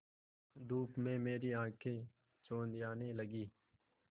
धूप में मेरी आँखें चौंधियाने लगीं